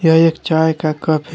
ये एक चाय का कप है।